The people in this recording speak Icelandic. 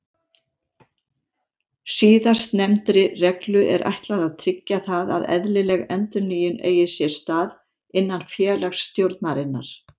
Síðastnefndri reglu er ætlað að tryggja það að eðlileg endurnýjun eigi sér stað innan félagsstjórnarinnar.